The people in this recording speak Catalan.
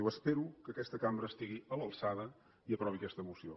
diu espero que aquesta cambra estigui a l’alçada i aprovi aquesta moció